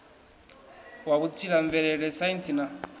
wa vhutsila mvelele saintsi na